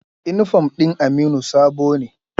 Inifom ɗin Aminu sabo ne